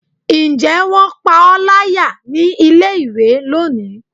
njẹ wón pa o layá ní ilé ìwé loní?